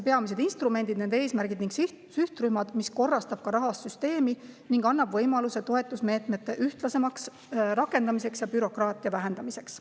See korrastab rahastussüsteemi ning annab võimaluse toetusmeetmete ühtlasemaks rakendamiseks ja bürokraatia vähendamiseks.